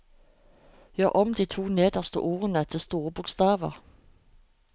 Gjør om de to neste ordene til store bokstaver